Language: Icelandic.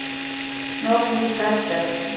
Snorri í Betel.